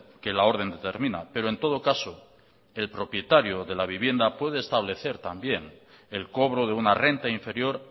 que la orden determina pero en todo caso el propietario de la vivienda puede establecer también el cobro de una renta inferior